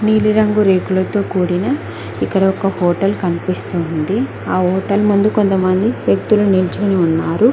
నీలి రంగు రేకులతో కూడిన ఇక్కడ ఒక హోటల్ కనిపిస్తుంది ఆ హోటల్ ముందు కొంతమంది వ్యక్తులు నిల్చుకుని ఉన్నారు.